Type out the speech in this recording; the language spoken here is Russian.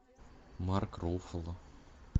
марк руффало